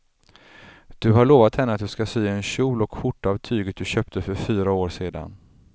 Du har lovat henne att du ska sy en kjol och skjorta av tyget du köpte för fyra år sedan.